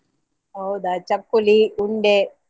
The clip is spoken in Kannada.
ಹೌದಾ? ಚಕ್ಕುಲಿ ಉಂಡೆ.